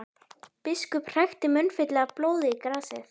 Biskup hrækti munnfylli af blóði í grasið.